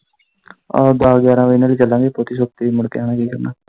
ਆਹੋ ਦੱਸ ਗਿਆਰਾਂ ਵਜੇ ਨਾਲ ਚਲਾਂਗੇ ਛੇਤੀ ਛੇਤੀ ਮੁੜ ਕੇ ਆਵਾਂਗੇ।